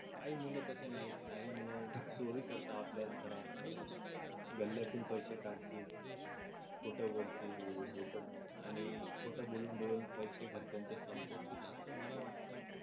काही मुलं तसे नाहीत काही मुलं चोरी करतात आपल्याच घरात गल्ल्यातून पैसे काढतील खोट बोलतील आणि खोटं बोलून बोलून पैसे घरचांचे संपवतील असं मला वाटत